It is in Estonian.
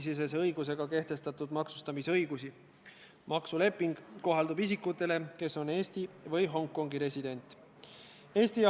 Tulles Riigikogu liikmete soovile vastu, võtan Riigikogu eesistuja õigusega ja nimel 10 minutit vaheaega ja juhatus arutab seda küsimust.